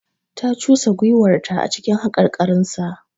Ta cusa gwiwarta a cikin haƙarƙarinsa.